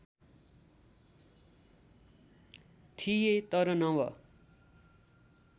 थिए तर नव